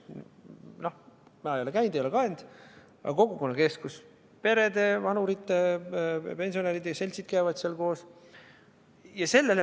Noh, ma ei ole käinud, ei ole kaenud – kogukonnakeskus: perede, vanurite, pensionäride seltsid käivad seal koos.